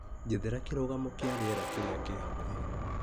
Njethera kĩrũgamo kĩa rĩera kĩrĩa kĩ hakuhĩ.